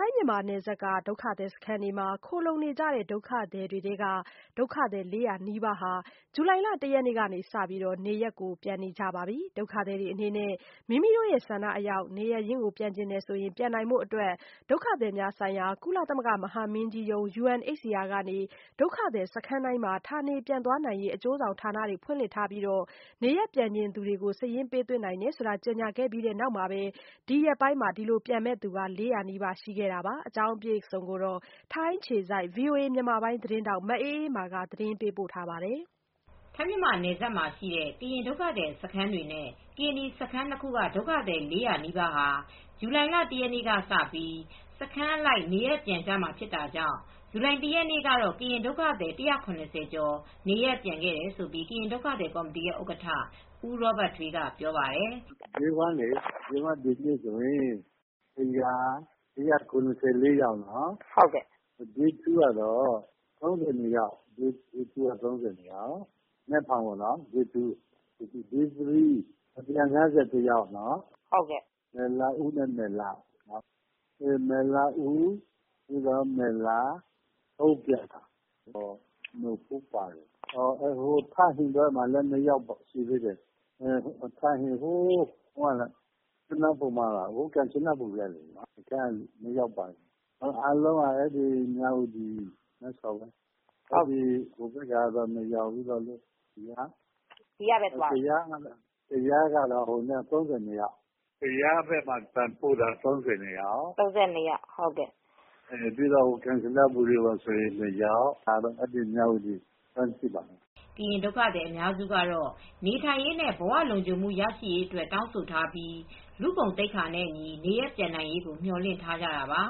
ိုင်း-မြန်မာနယ်စပ် ဒုက္ခသည်စခန်းတွေမှာ ခိုလှုံနေကြတဲ့ ဒုက္ခသည်တွေထဲက ဒုက္ခသည် ၄၀၀ နီးပါးဟာ ဇူလိုင်လ ၁ရက်နေ့ကစတင်ပြီး နေရပ်ကို ပြန်နေကြပါပြီ။ ဒုက္ခသည်တွေအနေနဲ့ မိမိဆန္ဒအလျောက် နေရပ်ရင်း ပြန်ချင်ရင် ပြန်နိုင်ဖို့ ဒုက္ခသည်များဆိုင်ရာ ကုလသမဂ္ဂ မဟာမင်းကြီးရုံး UNHCR က ဒုက္ခသည်စခန်းတိုင်းမှာ ဌာနေပြန်သွားနိုင်ရေး အကျိုးဆောင် ဌာနတွေ ဖွင့်လှစ်ထားပြီး နေရပ်ပြန်ချင်သူတွေ စာရင်းပေး သွင်းနိုင် တယ်လို့ ကြေညာခဲ့ပြီးတဲ့ နောက်မှာပဲ ဒီရက်ပိုင်း ပြန်မယ့်သူ ၄၀၀နီးပါးရှိခဲ့ တယ်လို့ ကရင်ဒုက္ခသည် ကော်မတီက ပြောပါတယ်။ ဒီအကြောင်း ထိုင်းအခြေစိုက် ဗွီအိုအေ မြန်မာပိုင်းသတင်းထောက် မအေးအေးမာက သတင်းပေးပို့ထားပါတယ်။ ထိုင်း- မြန်မာနယ်စပ်မှာရှိတဲ့ ကရင်ဒုက္ခသည်စခန်း တွေနဲ့ ကရင်နီစခန်း၂ခုက ဒုက္ခသည် ၄၀၀ နီးပါးဟာ ဇူလိုင်လ ၁ရက်နေ့ကစပြီး စခန်းအလိုက် နေရပ်ပြန်ကြရမှာ ဇူလိုင်၁ရက်နေ့ကတော့ ကရင်ဒုက္ခသည်စခန်းက ၁၇၀ ကျော်နေရပ်ပြန်ခဲ့တယ်လို့ ကရင် ဒုက္ခသည်ကော်မတီရဲ့ဥက္ကဌ ဦးရောဘတ်ထွေး က ပြောပါတယ်။ “Day 1 ကတော့ ဒီနေ့ဆိုရင် ၁၇၄ယောက်နော်။ Day 2 ကတော့ ၃၂ယောက် မနက်ဖြန်ပေါ့။ Day 3 ကတော့ ၁၅၁ ယောက် ၊မယ်လာဥ ၊ မယ်လ ၊အုန်းဖြန်၊ နို့ဖိုး၊ ထန်ဟင်ဘက်မှာလည်း ၂ယောက်ပါတယ်။ ကယားဘက်ကပြန်ပို့တာ ၃၂ယောက်၊ ကမ်ချနဘူရီ ၂ယောက် ကျန်တာကတော့ မြဝတီဘက်ကပဲ ပြန်ပို့တာပဲရှိပါတယ်” ကရင် ဒုက္ခသည်အများစုကတော့ နေထိုင်ရေး နဲ့ ဘဝလုံခြုံမူ ရှိရေးအတွက် တောင်းဆို ထားပြီး လူ့ဂုဏ်သိက္ခာနဲ့ အညီနေရပ်ပြန်နိုင်ရေး ကိုမျော်လင့်ထားကြတာပါ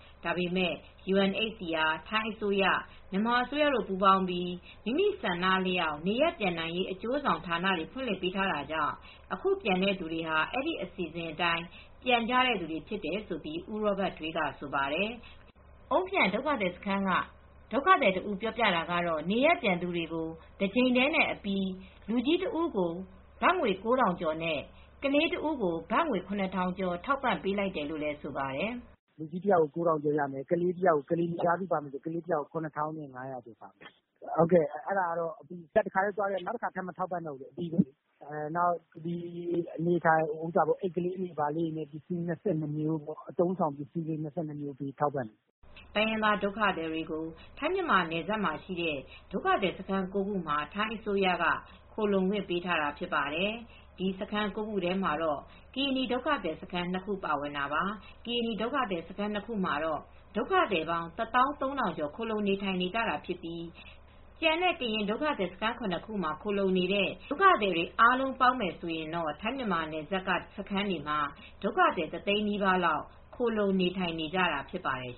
။ ဒါပေမယ့် UNHCR ထိုင်းအစိုးရ မြန်မာအစိုးရ တို့ပေါင်းပြီး မိမိဆန္ဒအလျောက် နေရပ်ပြန်နိုင်ရေးု အကျိုးဆောင်ဌာန တွေဖွင့်လှစ်ပေးထား တာကြောင့် အခုပြန်တဲ့သူတွေဟာ အဲဒီ အစီစဉ်တိုင်း ပြန်တဲ့သူတွေဖြစ်တယ်လို့ ဦးရောဘတ်ထွေး ကဆိုပါတယ်။ အုန်းဖြန်စခန်းကဒုက္ခသည် တဦးပြောတာကတော့ နေရပ်ပြန်သူတွေ ကို တကြိမ်တည်းအပြီး လူကြီးတဦးကို ၉၀၀၀ ကျော်နဲ့ ကလေးတဦးကို ၇၀၀၀ ကျော် ထောက်ပံပေးလိုက်တယ်လို့လည်းဆိုပါတယ်။ “လူကြီးတယောက်ကို ၉ထောင်ကျော်ရမယ် ။ ကလေးတယောက်ကို ၇၅၀၀ရမယ် အဲဒါကတော့ အပြီးပဲ။ နောက်တခါမထောက်ပံ့တော့ဘူး နောက်ပြီး အိပ်ကလေးတွေအပါအဝင် ပစ္စည်း ၂၂မျိုး၊ အသုံး အဆောင်ပစ္စည်း ၂၂မျိုး ထောက်ပံ့ပါတယ်” တိုင်းရင်းသားဒုက္ခသည်တွေကို ထိုင်း-မြန်မာနယ်စပ်မှာရှိတဲ့ ဒုက္ခသည်စခန်း ၉ ခုမှာ ထိုင်းအစိုးရက ခိုလှုံခွင့် ပေး ထားတာဖြစ်ပါတယ်။ ဒီဒုက္ခစခန်း၉ခုထဲမှာ ကရင်နီဒုက္ခသည်စခန်း ၂ခုပါဝင်တာပါ။ ကရင်နီဒုက္ခသည်စခန်း ၂ခုမှာတော့ ဒုက္ခသည်ပေါင်း ၁၃၀၀၀ ကျော်ခိုလှုံ နေထိုင်နေတာဖြစ်ပြီး ကျန်တဲ့ ကရင်ဒုက္ခသည်စခန်း ၇ခုမှာခိုလံှုနေတဲ့ ဒုက္ခသည်တွေ အားလုံးပေါင်းမယ်ဆိုရင်တော့ ထိုင်း-မြန်မာနယ်စပ်က စခန်းတွေမှာ ဒုက္ခသည်တသိန်းနီးပါးလောက် ခိုလှုံနေထိုင်နေကြတာဖြစ်ပါတယ်